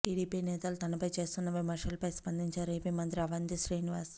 TDP నేతలు తనపై చేస్తున్న విమర్శలపై స్పందించారు ఏపీ మంత్రి అవంతి శ్రీనివాస్